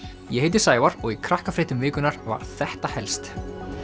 ég heiti Sævar og í Krakkafréttum vikunnar var þetta helst